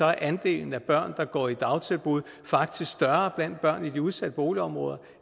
er andelen af børn der går i dagtilbud faktisk større blandt børn i de udsatte boligområder